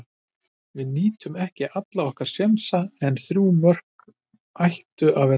Við nýttum ekki alla okkar sénsa en þrjú mörk ættu að vera nóg.